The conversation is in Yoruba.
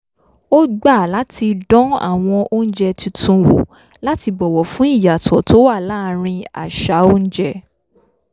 ó gbà láti dán àwọn oúnjẹ tuntun wò láti bọ̀wọ̀ fún ìyàtọ̀ tó wà láàrín àṣà oúnjẹ